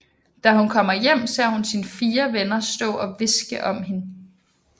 Da hun kommer hjem ser hun sine fire venner stå og hviske om hende